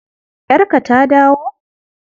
Yarka ta dawo?